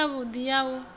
i si yavhudi ya u